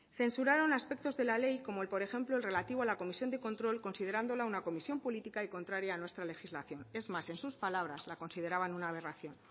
censuraron aspectos de la ley como por ejemplo el relativo a la comisión de control considerándola una comisión política y contraria a nuestra legislación es más en sus palabras la consideraban una aberración